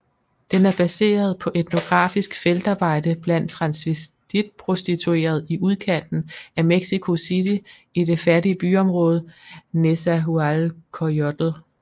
Den er baseret på etnografisk feltarbejde blandt transvestitprostituerede i udkanten af Mexico City i det fattige byområde Nezahualcoyotl